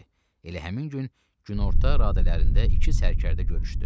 Elə həmin gün günorta radələrində iki sərkərdə görüşdü.